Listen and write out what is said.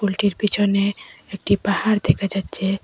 এটির পিছনে একটি পাহাড় দেখা যাচ্ছে।